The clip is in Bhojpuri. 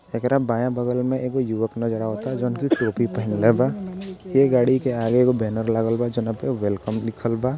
एकरा बायाँ बगल मे एक युवक नजर आवत जोन की टोपी पहनले बा ये गाड़ी के आगे एगो बैनर लागल बा जॉन पे वेलकम लिखल बा।